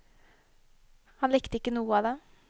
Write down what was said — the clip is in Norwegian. Han likte ikke noe av det.